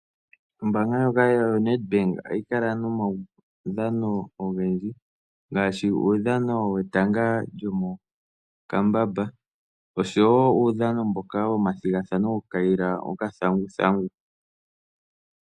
Ombaanga ndjoka yoNedbank ohayi kala nomaudhano ogendji ngaashi uudhano wetanga lyomokambamba osho wo uudhano mboka womathigathano gokukayila okathanguthangu.